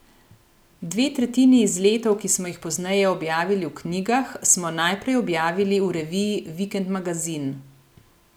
Dve tretjini izletov, ki smo jih pozneje objavili v knjigah, smo najprej objavili v reviji Vikend magazin.